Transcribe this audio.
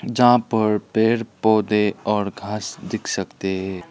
यहां पर पेड़ पौधे और घास दिख सकते है।